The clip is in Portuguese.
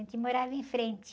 A gente morava em frente.